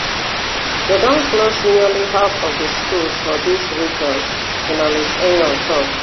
dem don close nearly half of di schools for dis region journalist eyong tok